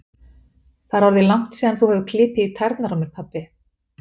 Það er orðið langt síðan þú hefur klipið í tærnar á mér, pabbi